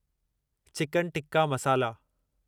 chicken tikka मसाला